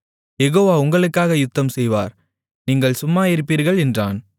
யெகோவா உங்களுக்காக யுத்தம்செய்வார் நீங்கள் சும்மாயிருப்பீர்கள் என்றான்